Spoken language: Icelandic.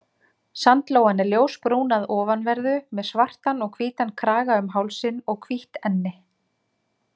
Sandlóan er ljósbrún að ofanverðu, með svartan og hvítan kraga um hálsinn og hvítt enni.